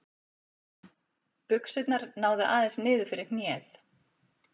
Buxurnar náðu aðeins niður fyrir hnéð.